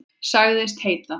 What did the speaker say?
Sagðist heita